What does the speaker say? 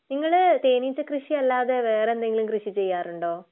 നിങ്ങള് തേനീച്ച കൃഷി അല്ലാതെ വേറെ എന്തെങ്കിലും കൃഷി ചെയ്യാറുണ്ടോ?